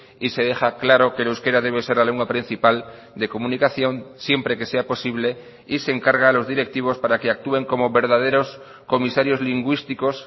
y se deja claro que el euskera debe ser la lengua principal de comunicación siempre que sea posible y se encarga a los directivos para que actúen como verdaderos comisarios lingüísticos